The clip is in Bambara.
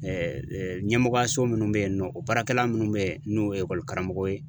ɲɛmɔgɔyaso minnu bɛ yen nɔ o baarakɛla minnu bɛ yen n'o ye karamɔgɔ ye